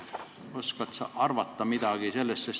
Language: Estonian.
Oskad sa sellest midagi arvata?